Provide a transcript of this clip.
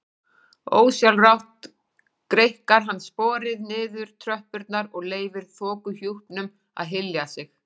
Ósjálfrátt greikkar hann sporið niður tröppurnar og leyfir þokuhjúpnum að hylja sig.